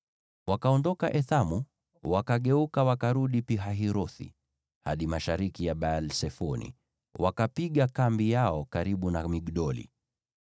Wakaondoka Ethamu, wakageuka wakarudi Pi-Hahirothi, hadi mashariki ya Baal-Sefoni, wakapiga kambi yao karibu na Migdoli.